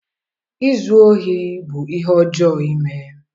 izu ohi bụ ihe ọjọọ ime.